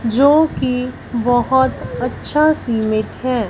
जोकि बहोत अच्छा सीमेंट है।